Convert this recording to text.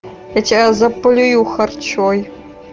сейчас заплюю харчой